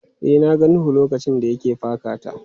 E, na ga Nuhu lokacin da ya ke paka ta.